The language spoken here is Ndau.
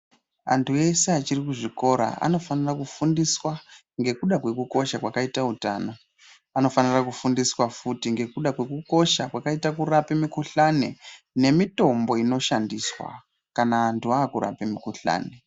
Antu eshe achiri kuzvikora anofanira kufundisa ngekuda kwekukosha kwakaita utano anofanira kufundiswa futi ngekuda kwekukosha kwakaite kurape mikuhlani nemitombo inoshandiswa kana antu akurape mukuhlani.